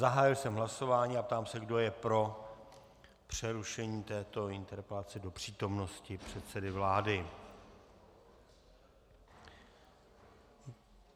Zahájil jsem hlasování a ptám se, kdo je pro přerušení této interpelace do přítomnosti předsedy vlády?